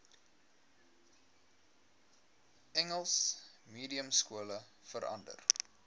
engels mediumskole verander